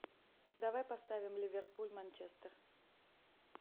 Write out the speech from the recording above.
давай поставим ливерпуль манчестер